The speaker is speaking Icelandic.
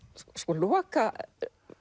lokakaflinn